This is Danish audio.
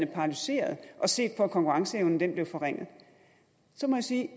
paralyseret og set på at konkurrenceevnen blev forringet så må jeg sige at